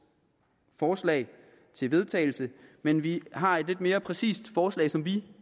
forslag til vedtagelse men vi har et lidt mere præcist forslag som vi